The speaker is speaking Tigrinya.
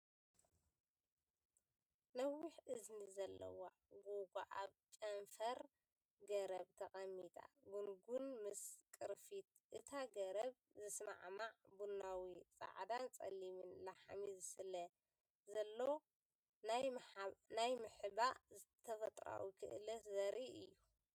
ነዊሕ እዝኒ ዘለዋ ጉጓ ኣብ ጨንፈር ገረብ ተቐሚጣ። ጉንጉን ምስ ቅርፊት እታ ገረብ ዝሰማማዕ ቡናዊ፡ ጻዕዳን ጸሊምን ላሕሚ ስለ ዘለዎ፡ ናይ ምሕባእ ተፈጥሮኣዊ ክእለቱ ዘርኢ እዩ።